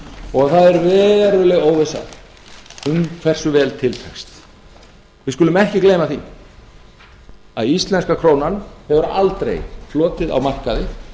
og það er veruleg óvissa um hversu vel til tekst við skulum ekki gleyma því að íslenska krónan hefur aldrei flotið á markaði